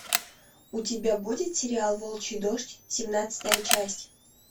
у тебя будет сериал волчий дождь семнадцатая часть